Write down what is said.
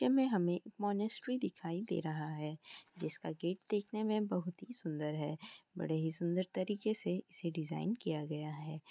ये में हमें मोंनेस्ट्री दिखाई दे रहा है जिसका गेट देखने में बहुत ही सुंदर है। बड़े ही सुंदर तरीके से इसे डीज़ाइन किया गया है।